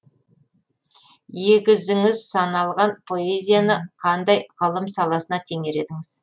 егізіңіз саналған поэзияны қандай ғылым саласына теңер едіңіз